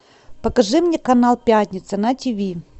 покажи мне канал пятница на тв